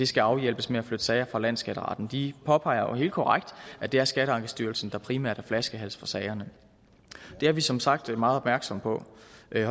skal afhjælpes med at flytte sager fra landsskatteretten de påpeger jo helt korrekt at det er skatteankestyrelsen der primært er flaskehals for sagerne det er vi som sagt meget opmærksomme på